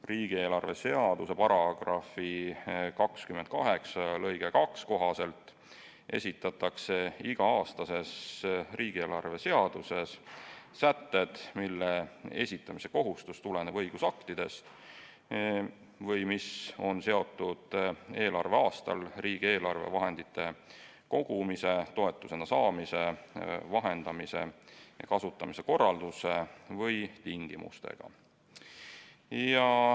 Riigieelarve seaduse § 28 lõike 2 kohaselt esitatakse iga-aastases riigieelarve seaduses sätted, mille esitamise kohustus tuleneb õigusaktist või mis on seotud eelarveaastal riigieelarve vahendite kogumise, toetusena saamise, vahendamise või kasutamise korralduse või tingimustega.